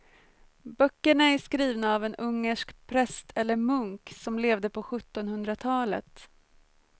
Böckerna är skrivna av en ungersk präst eller munk som levde på sjuttonhundratalet.